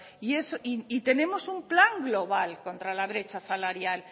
tenemos un plan global contra la brecha salarial